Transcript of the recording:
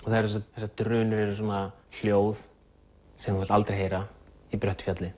þessar drunur eru svona hljóð sem þú vilt aldrei heyra í bröttu fjalli